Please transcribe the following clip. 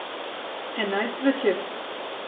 Enajst zvečer.